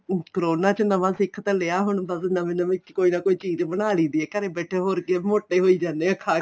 corona ਚ ਨਵਾ ਸਿੱਖ ਤਾਂ ਲਿਆ ਹੁਣ ਤਾਂ ਨਵੀ ਨਵੀ ਕੋਈ ਚੀਜ਼ ਬਣਾ ਲਈ ਦੀ ਏ ਘਰੇ ਬੈਠੇ ਹੋਰ ਕੀ ਮੋਟੇ ਹੋਈ ਜਾਨੇ ਆ ਖਾ